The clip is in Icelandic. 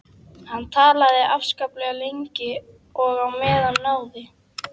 Hann talaði afskaplega lengi og á meðan náði